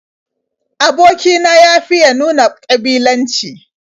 Aboki na ya fiya nuna ƙabilanci.